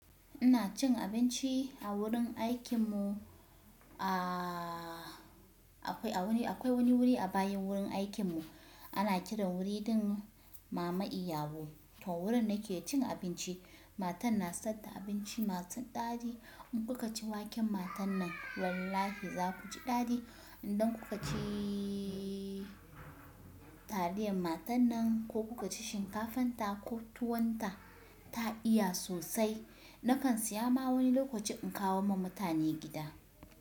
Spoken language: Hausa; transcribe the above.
Ina cin abinci a wurin aikinmu. Aaa akwai wani wuri a bayan wurin aikinmu. Ana kiran wuri ɗin mama Iyabo. To wurin nake cin abinci. Matan na sayar da abinci masu daɗi. In kuka ci waken matan nan wallahi za ku ji daɗi. Idan kuka ciii taliyan matan nan ko kuka ci shinkafan ta ko tuwon ta, ta iya sosai. Nakan saya ma wani lokaci in kawo ma mutane gida.